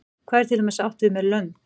hvað er til dæmis átt við með lönd